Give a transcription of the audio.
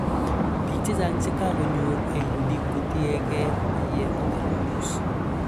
Piik che chang che kakonyor AUD kotiye ke maiyek koteleldos